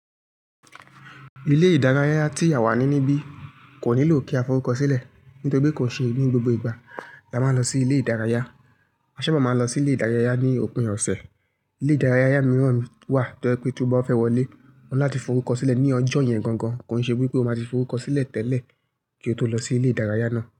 Ilé ìdárayá tí àwa ní níbí kò nílò kí a forúkọ sílẹ̀ nítorí pé kò ṣe ní gbogbo ìgbà la máa ń lọ sí ilé ìdárayá. A sábà máa ń lọ sí ilé ìdárayá ní òpin ọ̀sẹ̀. Ilé ìdárayá mìíràn wà tó pé tí ó bá fẹ́ wọlé, óni láti forúkọ sílẹ̀ ní ọjọ́ yẹn gangan, kò n ṣe wipé ó máa ti forúkọ sílẹ̀ tẹ́lẹ̀ kí ó tó lọ sí ilé ìdárayá náà.